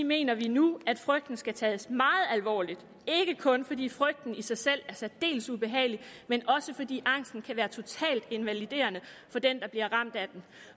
mener vi nu at frygten skal tages meget alvorligt ikke kun fordi frygten i sig selv er særdeles ubehagelig men også fordi angsten kan være totalt invaliderende for den der bliver ramt af den